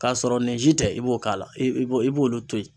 K'a sɔrɔ nin si tɛ i b'o k'a la i b'o i b'olu to ye.